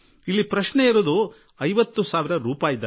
ಪ್ರಶ್ನೆ ಐವತ್ತು ಸಾವಿರ ರೂಪಾಯಿಗಳದ್ದಲ್ಲ